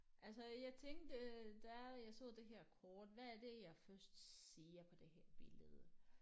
Altså jeg tænkte øh da jeg så det her kort hvad er det jeg først ser på det her billede